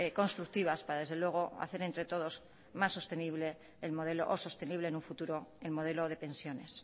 constructivas para desde luego hacer entre todos más sostenible el modelo o sostenible en un futuro el modelo de pensiones